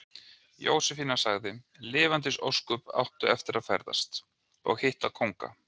Jósefína sagði: Lifandis ósköp áttu eftir að ferðast. og hitta kónga.